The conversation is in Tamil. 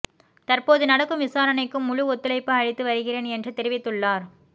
தற்போது நடக்கும் விசாரணைக்கும் முழு ஒத்துழைப்பு அளித்து வருகிறேன் என்று தெரிவித்துள்ளார்